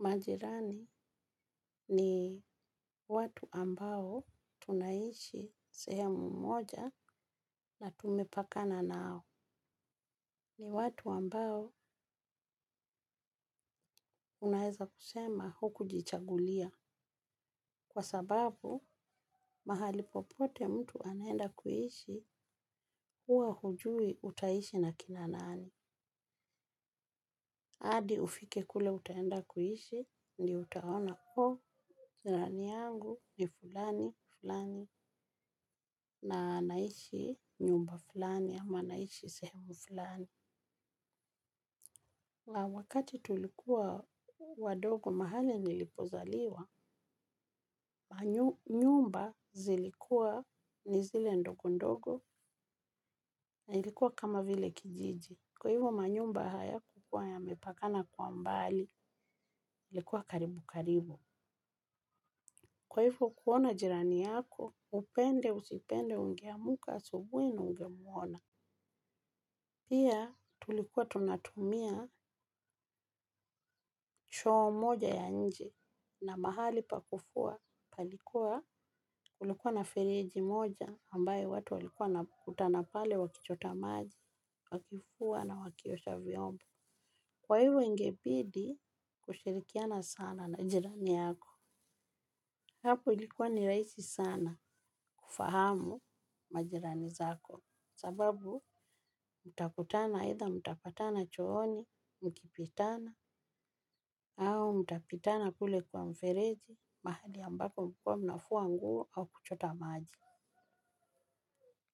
Majirani ni watu ambao tunaishi sehemu mmoja na tumepakana nao. Ni watu ambao unaweza kusema huku jichagulia. Kwa sababu, mahali popote mtu anaenda kuishi huwa hujui utaishi na kina nani. Hadi ufike kule utaenda kuishi ndio utaona kuwa jirani yangu ni fulani, fulani, na anaishi nyumba fulani, ama anaishi sehemu fulani. Wakati tulikuwa wadogo mahali nilipozaliwa, nyumba zilikuwa ni zile ndogo ndogo na ilikuwa kama vile kijiji. Kwa hivyo manyumba hayakukuwa yamepakana kwa mbali, ilikuwa karibu karibu. Kwa hivyo kuona jirani yako upende usipende ungeamka asubuhi na ungemuona. Pia tulikuwa tunatumia choo moja ya nje na mahali pa kufua palikuwa kulikuwa na fereji moja ambayo watu walikuwa na kutana pale wakichota maji wakifua na wakiosha vyombo. Kwa hivyo ingebidi kushirikiana sana na jirani yako. Hapo ilikua ni rahisi sana kufahamu majirani zako sababu mtakutana aidha chooni au mtal.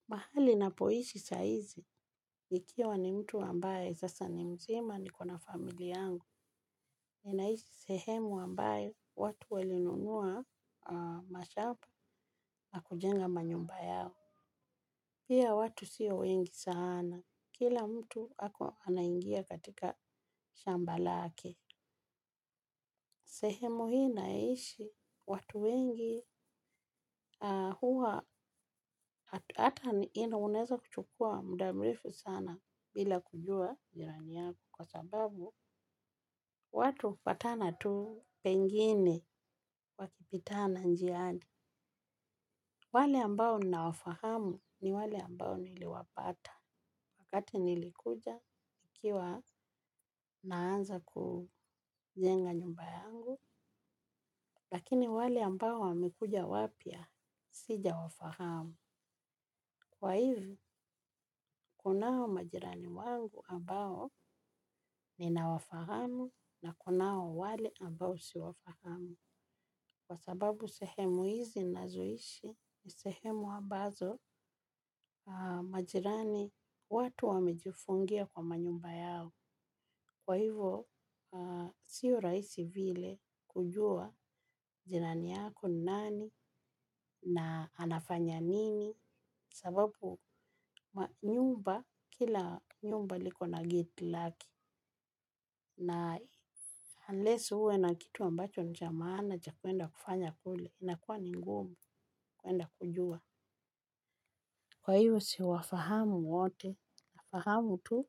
Mahali ninapoishi sahizi nikiwa ni mtu ambaye sasa ni mzima niko na familia yangu. Ninaishi sehemu ambayo watu wali nunua mashambana kujenga manyumba yao. Pia watu sio wengi sana. Kila mtu ako anaingia katika shamba lake. Sehemu hii ninayoishi watu wengi huwa hata unaweza kuchukua muda mrefu sana bila kujua jirani yako kwa sababu watu hupatana tu pengine wakipitana njiani. Wale ambao nina wafahamu ni wale ambao niliwapata wakati nilikuja ikiwa naanza kujenga nyumba yangu lakini wale ambao wamekuja wapya sija wafahamu. Kwa hivyo, kunao majirani wangu ambao ninawafahamu na kunao wale ambao siwafahamu. Kwa sababu sehemu hizi ninazoishi ni sehemu ambazo majirani watu wamejifungia kwa manyumba yao. Kwa hivyo, siyo rahisi vile kujua jirani yako nani na anafanya nini. Sababu kila nyumba liko na geti lake. Na unless uwe na kitu ambacho ni cha maana cha kuenda kufanya kule inakuwa ni ngumu kwenda kujua. Kwa hivo siwafahamu wote na fahamu tu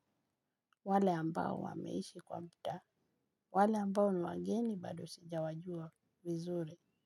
wale ambao wameishi kwa muda. Wale ambao ni wageni bado sijawajua vizure.